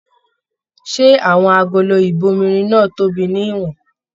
Ṣé àwọn agolo ibòmírin náà tóbi ní ìwòn?